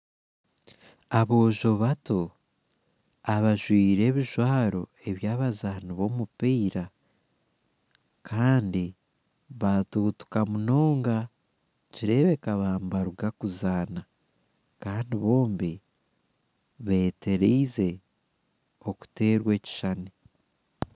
Aboojo bato abajwaire ebijwaro eby'abazaani b'omupiira, kandi baatuutuka munonga. Nikireebeka baaba nibaruga kuzaana kandi bombi betereize okuteerwa ekishushani.